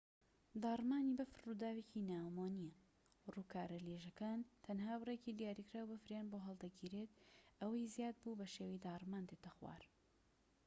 داڕمانی بەفر ڕووداوێکی ناومۆ نیە ڕووکارە لێژەکان تەنها بڕێکی دیاریکراو بەفریان بۆ هەڵدەگیرێت ئەوەی زیاد بوو بەشێوەی داڕمان دێتە خوار